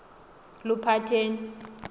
luphatheni